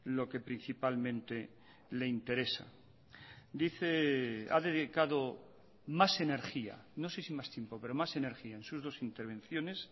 lo que principalmente le interesa dice ha dedicado más energía no sé si más tiempo pero más energía en sus dos intervenciones